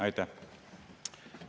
Aitäh!